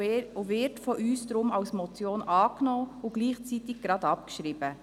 Darum wird er von uns als Motion angenommen und gleichzeitig abgeschrieben.